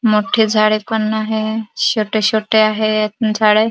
मोठे झाडे पण आहे छोटे छोटे आहेत झाडे.